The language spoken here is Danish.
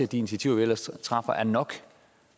de initiativer vi ellers tager er nok